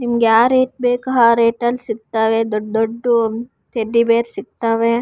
ನಿಮ್ಗ್ ಯಾವ್ ರೇಟ್ ಬೇಕೊ ಆ ರೇಟ್ ಅಲ್ಲಿ ಸಿಗ್ತಾವೆ ದೊಡ್ದ್ ದೊಡ್ದ್ ಟೆಡ್ಡಿ ಬೇರ್ ಸಿಗ್ತಾವೆ.